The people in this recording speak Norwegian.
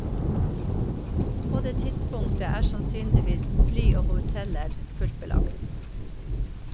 På det tidspunktet er sannsynligvis fly og hoteller fullt belagt.